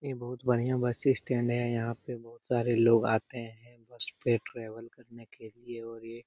ये बहुत बढ़िया बस स्टैंड है यहाँ पे बहुत सारे लोग आते हैं बस में ट्रावल करने के लिए और ये --